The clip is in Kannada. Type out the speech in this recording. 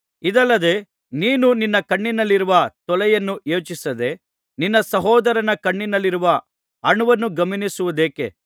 ಇದಲ್ಲದೆ ನೀನು ನಿನ್ನ ಕಣ್ಣಿನಲ್ಲಿರುವ ತೊಲೆಯನ್ನು ಯೋಚಿಸದೆ ನಿನ್ನ ಸಹೋದರನ ಕಣ್ಣಿನಲ್ಲಿರುವ ಅಣುವನ್ನು ಗಮನಿಸುವುದೇಕೆ